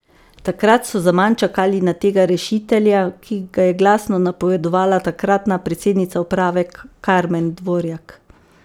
Takrat so zaman čakali na tega rešitelja, ki ga je glasno napovedovala takratna predsednica uprave Karmen Dvorjak.